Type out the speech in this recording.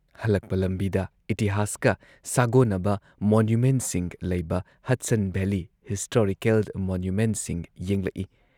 ꯍꯜꯂꯛꯄ ꯂꯝꯕꯤꯗ ꯏꯇꯤꯍꯥꯁꯀ ꯁꯥꯒꯣꯟꯅꯕ ꯃꯣꯅꯨꯃꯦꯟꯠꯁꯤꯡ ꯂꯩꯕ ꯍꯗꯁꯟ ꯚꯦꯂꯤ ꯍꯤꯁꯇꯣꯔꯤꯀꯦꯜ ꯃꯣꯅꯨꯃꯦꯟꯠꯁꯤꯡ ꯌꯦꯡꯂꯛꯏ ꯫